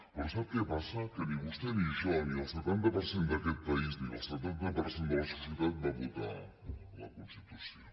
però sap què passa que ni vostè ni jo ni el setanta per cent d’aquest país ni el setanta per cent de la societat vam votar la constitució